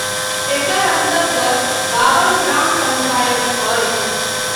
एकर अन्तर्गत बाबन ग्राम पंचायत अछि।